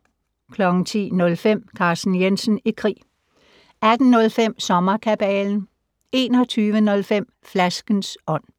10:05: Carsten Jensen i krig 18:05: Sommerkabalen 21:05: Flaskens ånd